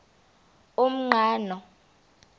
umqhano